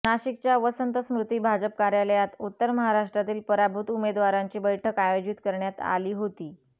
नाशिकच्या वसंत स्मृती भाजप कार्यालयात उत्तर महाराष्ट्रातील पराभूत उमेदवारांची बैठक आयोजित करण्यात आली होती